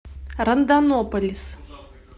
рондонополис